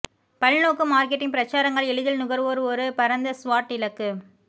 பல்நோக்கு மார்க்கெட்டிங் பிரச்சாரங்கள் எளிதில் நுகர்வோர் ஒரு பரந்த ஸ்வாட் இலக்கு